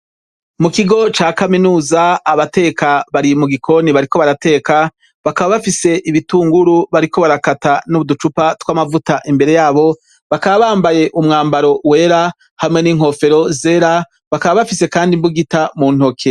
Mu kigo ca kaminuza, abateka bari mu gikoni, bariko barateka, bakaba bafise ibitunguru bariko barakata n' uducupa tw' amavuta imbere yabo, bakaba bambaye umwambaro wera, hamwe n' inkofero zera, bakaba bafise kandi imbugita mu ntoke.